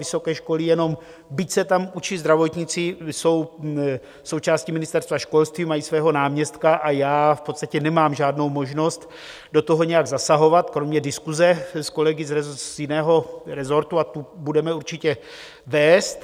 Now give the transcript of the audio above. Vysoké školy jenom, byť se tam učí zdravotníci, jsou součástí Ministerstva školství, mají svého náměstka a já v podstatě nemám žádnou možnost do toho nějak zasahovat kromě diskuse s kolegy z jiného resortu, a tu budeme určitě vést.